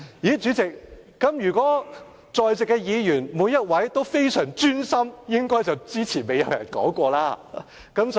代理主席，如果我說在座每一位議員均非常專心，這個論點之前應該沒有人提過了，對嗎？